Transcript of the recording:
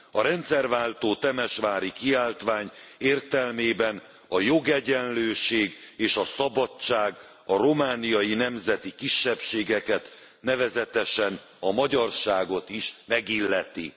A rendszerváltó Temesvári kiáltvány értelmében a jogegyenlőség és a szabadság a romániai nemzeti kisebbségeket, nevezetesen a magyarságot is megilleti!